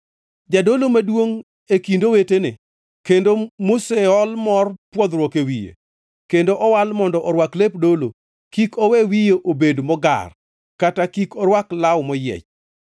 “ ‘Jadolo maduongʼ e kind owetene, kendo moseol mor pwodhruok e wiye, kendo owal mondo orwak lep dolo, kik owe wiye obed mogar, kata kik orwak law moyiech.